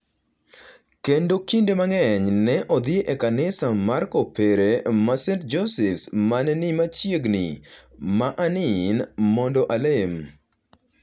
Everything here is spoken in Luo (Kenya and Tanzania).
kendo kinde mang’eny ne odhi e Kanisa mar Kopere ma St Joseph’s ma ne ni machiegni, ma Anin, mondo alem.